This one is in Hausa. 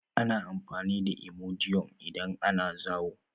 Ana amfani da imodium idan ana zaayo.